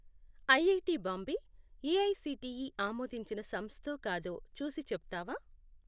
IIT Bombay AICTE ఆమోదించిన సంస్థో కాదో చూసి చెప్తావా?